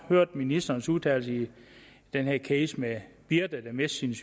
høre ministerens udtalelse i den her case med birte der mistede